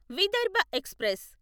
Vidarbha express